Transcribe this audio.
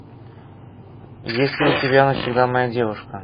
есть ли у тебя навсегда моя девушка